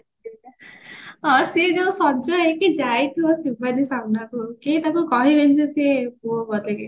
ହଁ ସିଏ ଯୋଉ ସଜ ହେଇକି ଯାଇଥିବା ଶିବାନୀ ସାମ୍ନାକୁ କିଏ ତାକୁ କହିବେନି ଯେ ସିଏ ପୁଅ ବୋଲିକି